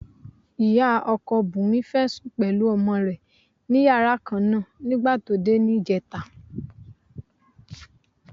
Ìyá ọkọ Bùnmi fẹ́ sùn pẹ̀lú ọmọ rẹ̀ ní yàrá kan náà nígbà tí ó dé ní ìjẹta.